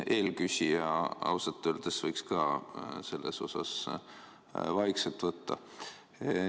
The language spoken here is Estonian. Eelküsija võiks ausalt öeldes selles osas vaikselt võtta.